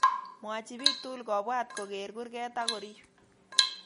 Mwachi biik tugul kobwat kogeer kurget ago riip